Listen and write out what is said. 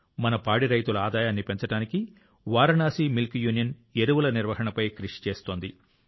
మన పాడి రైతుల ఆదాయాన్ని పెంచడానికి వారణాసి మిల్క్ యూనియన్ ఎరువుల నిర్వహణపై కృషి చేస్తోంది